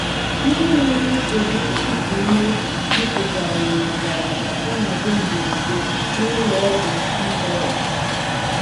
Ndị nwere nsogbu iku ume jupụtara ná ngalaba ọnọdụ mberede n’Ụlọ Ọgwụ Canberra.